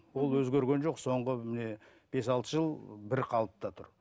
ол өзгерген жоқ соңғы міне бес алты жыл бірқалыпта тұр